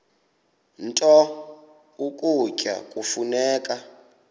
nto ukutya kufuneka